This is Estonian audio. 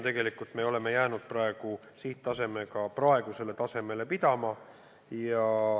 Tegelikult me oleme jäänud oma praegusele tasemele pidama.